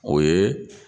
O ye